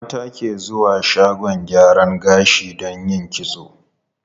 Mata ke zuwa shagon gyaran gashi don yin kitso.